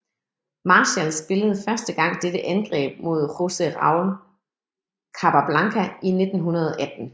Marshall spillede første gang dette angreb mod Jose Raul Capablanca i 1918